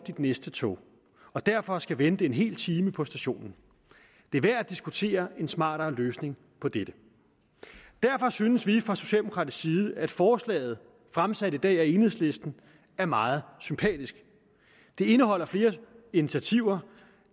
næste tog og derfor skal vente en hel time på stationen det er værd at diskutere en smartere løsning på dette derfor synes vi fra socialdemokratisk side at forslaget fremsat i dag af enhedslisten er meget sympatisk det indeholder flere initiativer